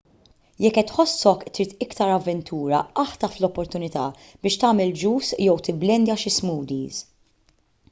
jekk qed tħossok trid iktar avventura aħtaf l-opportunità biex tagħmel juice jew tibblendja xi smoothies